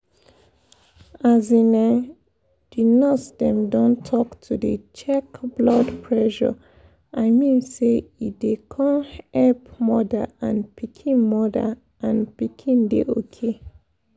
as um di nurse dem um talk to dey check blood pressure i mean say e dey um epp moda and pikin moda and pikin dey ok.